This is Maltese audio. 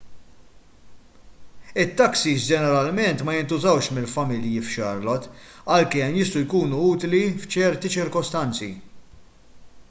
it-taksis ġeneralment ma jintużawx mill-familji f'charlotte għalkemm jistgħu jkunu utli f'ċerti ċirkostanzi